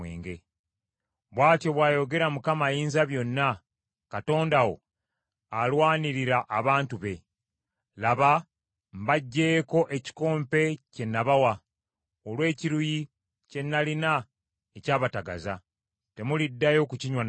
Bw’atyo bw’ayogera Mukama Ayinzabyonna, Katonda wo alwanirira abantu be. “Laba mbaggyeeko ekikompe kye nabawa olw’ekiruyi kye nalina, ekyabatagaza. Temuliddayo kukinywa nate.